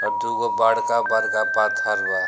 और दुगो बड़का-बड़का पत्थर बा।